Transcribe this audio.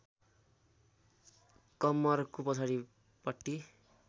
कम्मरको पछाडिपट्टि